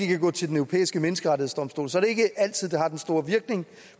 kan gå til den europæiske menneskerettighedsdomstol så er det ikke altid det har den store virkning